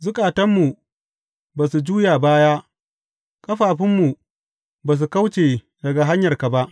Zukatanmu ba su juya baya; ƙafafunmu ba su kauce daga hanyarka ba.